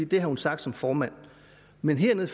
det har hun sagt som formand men hernede